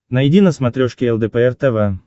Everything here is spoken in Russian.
найди на смотрешке лдпр тв